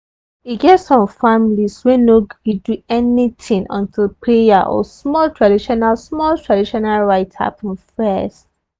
e get some families wey no go gree do anything until prayer or small traditional small traditional rite happen first.